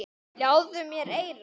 Ljáðu mér eyra.